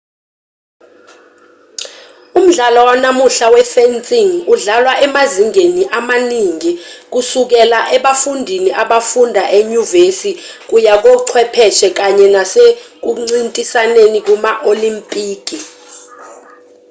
umdlalo wanamuhla we-fencing udlalwa emazingeni amaningi kusukela ebafundini abafunda enyuvesi kuya kochwepheshe kanye nasekuncintisaneni kuma-olimpiki